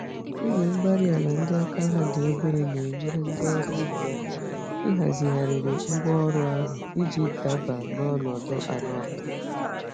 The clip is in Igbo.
Igwe-mgbárí-ala ndị àkà ha dị obere nenyere ndị ọrụ ubi àkà, ị hazigharịrị ngwá ọrụ ahụ, iji daba n'ọnọdụ àlà ọbula